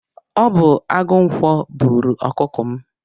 Ọ bu agụ ǹkwọ bụrụ ọkụkọ m